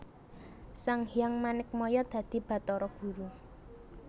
Sanghyang Manikmaya dadi Batara Guru